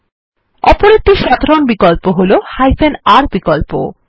অপর একটি সাধারণ বিকল্প হল r বিকল্প